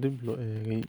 dibloo eegay.